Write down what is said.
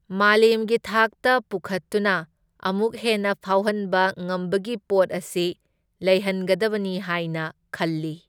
ꯃꯥꯂꯦꯝꯒꯤ ꯊꯥꯛꯇ ꯄꯨꯈꯠꯇꯨꯅ ꯑꯃꯨꯛ ꯍꯦꯟꯅ ꯐꯥꯎꯍꯟꯕ ꯉꯝꯕꯒꯤ ꯄꯣꯠ ꯑꯁꯤ ꯂꯩꯍꯟꯒꯗꯕꯅꯤ ꯍꯥꯏꯅ ꯈꯜꯂꯤ꯫